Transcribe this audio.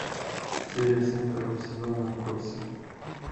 серия семь второго сезона отбросы